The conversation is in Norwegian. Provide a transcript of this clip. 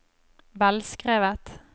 velskrevet